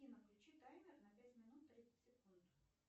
афина включи таймер на пять минут тридцать секунд